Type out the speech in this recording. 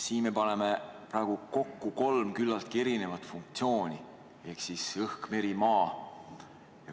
Siin pannakse praegu kokku kolm küllaltki erinevat funktsiooni ehk õhk, meri ja maa.